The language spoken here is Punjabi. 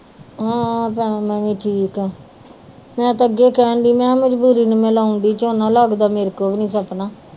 ਹਮ ਭੈਣੇ ਮੈ ਵੀ ਠੀਕ ਆ ਮੈ ਤੇ ਅੱਗੇ ਕੇਹਨ ਡਈ ਮੇਹਾ ਮਜਬੂਰੀ ਨੂੰ ਲਾਉਣ ਡੀ ਝੋਨਾ ਲੱਗਦਾ ਮੇਰੇ ਕੋ ਵੀ ਨੀ ਸਪਨਾ